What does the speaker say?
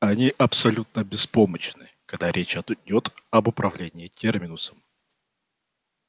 они абсолютно беспомощны когда речь идёт об управлении терминусом